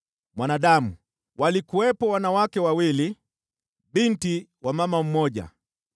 “Mwanadamu, walikuwepo wanawake wawili, binti wa mama mmoja.